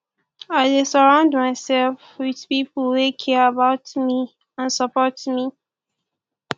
i dey surround myself with people wey care about me and support me